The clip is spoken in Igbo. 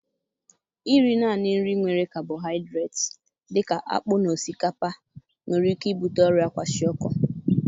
Iri naanị nri nwere kabohaịdret dị ka akpụ na osikapa nwere ike ibute ọrịa kwashiorkor